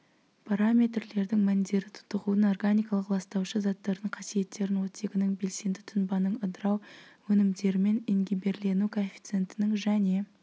параметрлердің мәндері тотығудың органикалық ластаушы заттардың қасиеттерін оттегінің белсенді тұнбаның ыдырау өнімдерімен ингибирлену коэффициентінің және